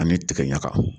An bɛ tigɛ ɲaga